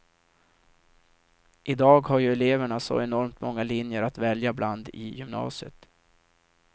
I dag har ju eleverna så enormt många linjer att välja bland i gymnasiet.